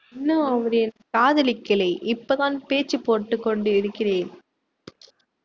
இன்னும் அவரை காதலிக்கலே இப்போதான் பேச்சு போட்டுக்கொண்டிருக்கிறேன்